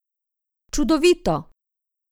Čudovito!